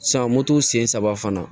moto sen saba fana